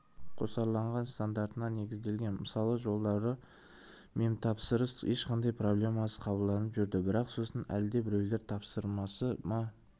қосарланған стандартына негізделген мысалы жылдары мемтапсырыстар ешқандай проблемасыз қабылданып жүрді бірақ сосын әлдебіреулердің тапсырысы ма